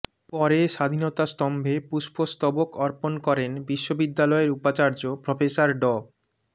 পরে স্বাধীনতা স্তম্ভে পুষ্পস্তবক অর্পণ করেন বিশ্ববিদ্যালয়ের উপাচার্য প্রফেসর ড